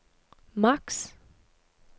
maks